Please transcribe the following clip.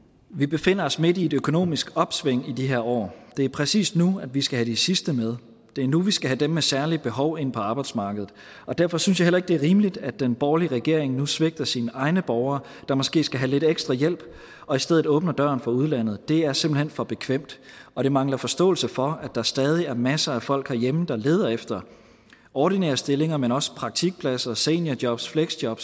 vi befinder os midt i et økonomisk opsving i de her år det er præcis nu vi skal have de sidste med det er nu vi skal have dem med særlige behov ind på arbejdsmarkedet derfor synes jeg heller ikke det er rimeligt at den borgerlige regering nu svigter sine egne borgere der måske skal have lidt ekstra hjælp og i stedet åbner døren for udlandet det er simpelt hen for bekvemt og det mangler en forståelse for at der stadig er masser af folk herhjemme der leder efter ordinære stillinger men også praktikpladser seniorjob fleksjob